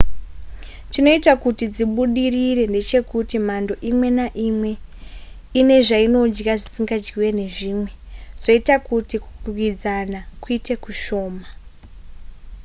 chinoita kuti dzibudirire ndechekuti mhando imwe neimwe ine zvainodya zvisingadyiwe nezvimwe zvoita kuti kukwikwidzana kuite kushoma